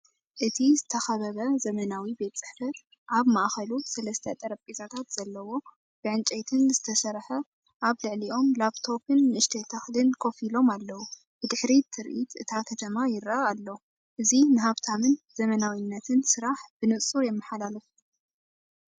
እዚ ዝተኸበበ ዘመናዊ ቤት ጽሕፈት፡ ኣብ ማእከሉ ሰለስተ ጠረጴዛታት ዘለዎ፡ ብዕንጨይትን ዝተሰርሐ። ኣብ ልዕሊኦም ላፕቶፕን ንእሽቶ ተኽልን ኮፍ ኢሎም ኣለው። ብድሕሪት ትርኢት እታ ከተማ ይረአ ኣሎ። እዚ ንሃብታምን ዘመናዊነትን ስራሕ ብንጹር የመሓላልፍ።